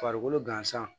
Farikolo gansan